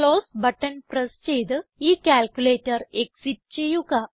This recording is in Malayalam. ക്ലോസ് ബട്ടൺ പ്രസ് ചെയ്ത് ഈ ക്യാൽക്കുലേറ്റർ എക്സിറ്റ് ചെയ്യുക